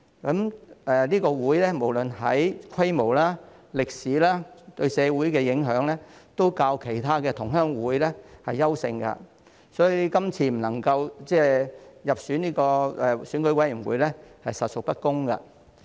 潮屬總會無論在規模、歷史及對社會的影響方面，都較其他同鄉會優勝，所以這次未能入選成為選委會界別分組的指明實體，實屬不公。